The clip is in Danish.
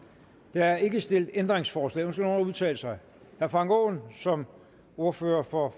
der er ikke stillet ændringsforslag ønsker nogen at udtale sig herre frank aaen som ordfører for